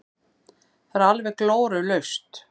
Það er alveg glórulaust.